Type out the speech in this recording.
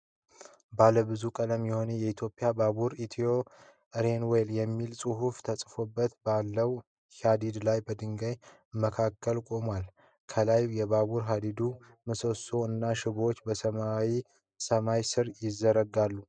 ባለ ብዙ ቀለም የሆነው የኢትዮጵያ ባቡር፣ "Ethiopian Railways" የሚል ጽሑፍ ተጽፎበት ባለው ሐዲድ ላይ በድንጋይ መካከል ቆሟል። ከላይ የባቡር ሐዲዱ ምሰሶዎች እና ሽቦዎች በሰማያዊ ሰማይ ስር ይዘረዘራሉ።